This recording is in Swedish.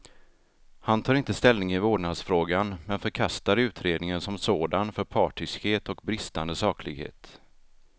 Han tar inte ställning i vårdnadsfrågan, men förkastar utredningen som sådan för partiskhet och bristande saklighet.